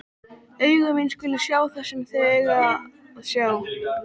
Augu mín skulu sjá það sem þau eiga að sjá.